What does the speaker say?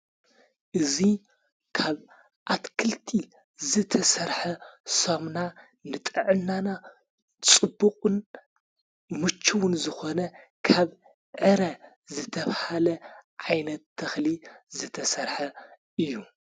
እዙይ ካብ ኣትክልቲ ዝተሠርሐ ሶምና ንጠዕናና ጽቡቕን ሙችውን ዝኾነ ካብ ዕረ ዘተብሃለ ዓይነት ተኽሊ ዝተሠርሐ እዩ።